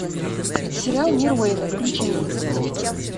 сериал мир уэйна включи мне